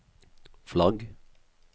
flagg